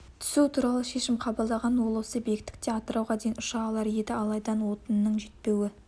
түсу туралы шешім қабылдаған ол осы биіктікте атырауға дейін ұша алар еді алайда отынның жетпеуі